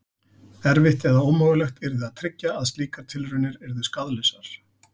Erfitt eða ómögulegt yrði að tryggja að slíkar tilraunir yrðu skaðlausar.